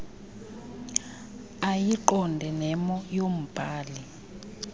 ayiqonde nemo yombhali